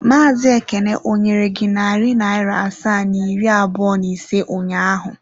Maazị Ekene ọ nyere gị narị naira asaa na iri abụọ na ise ụnyaahụ?